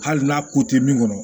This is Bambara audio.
Hali n'a ko te min kɔnɔ